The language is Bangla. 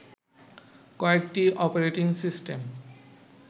কয়েকটি অপারেটিং সিস্টেম